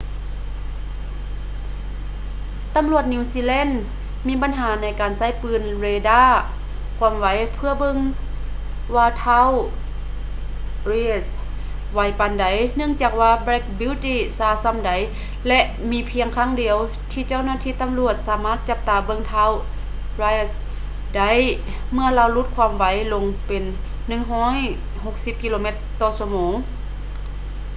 ຕໍາຫຼວດນິວຊີແລນມີບັນຫາໃນການໃຊ້ປືນເຣດ້າຄວາມໄວເພຶ່ອເບິ່ງວ່າທ້າວ reid ໄວປານໃດເນື່ອງຈາກວ່າ black beauty ຊ້າຊໍ່າໃດ ແລະ ມີພຽງຄັ້ງດຽວທີ່ເຈົ້າໜ້າທີ່ຕໍາຫຼວດສາມາດຈັບຕາເບິ່ງທ້າວ reid ໄດ້ເມື່ຶອລາວຫຼຸດຄວາມໄວລົງເປັນ 160 ກິໂລແມັດ/ຊົ່ວໂມງ